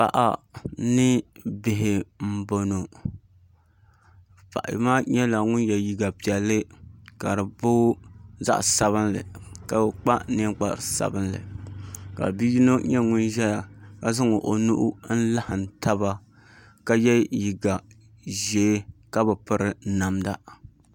Paɣa ni bihi n bɔŋɔ paɣa maa nyɛla ŋun yɛ liiga piɛlli ka di booi zaɣ sabinli ka o kpa ninkpari sabinli ka bia yino nyɛ ŋun ʒɛya ka zaŋ o nuhi laɣam taba ka yɛ liiga ʒiɛ ka bi piri namda